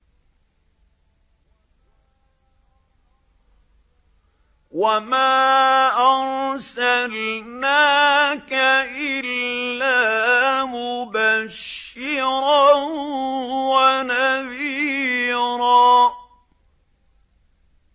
وَمَا أَرْسَلْنَاكَ إِلَّا مُبَشِّرًا وَنَذِيرًا